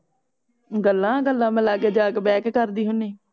ਗੱਲਾਂ ਗੱਲਾਂ ਮੈਂ ਲਾਗੇ ਜਾ ਕੇ ਬਹਿ ਕ ਕਰਦੀ ਹੁਨੀ